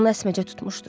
Onu əsməcə tutmuşdu.